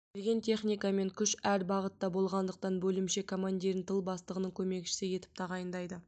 келген техника мен күш әр бағытта болғандықтан бөлімше командирін тыл бастығының көмекшісі етіп тағайындайды